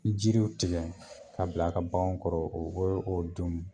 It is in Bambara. Bi Jiriw tigɛ ka bila a ka bagan kɔrɔ o o o ye o don ye